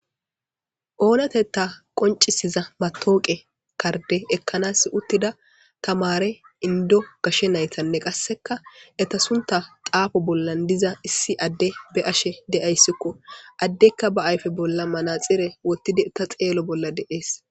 Oonatetta qonccisiza mataweqa kardde ekkanas uttida tamaare inddo gashe naytanne qassekka eta suntta xaafo bolla diza issi adde be'ashe de'ayssikko. Addeykka ba ayfe bolla manaxire wottidikka xeelo bolla de'es.